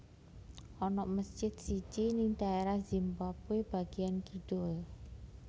Ana mesjid siji ning daerah Zimbabwe bagian kidul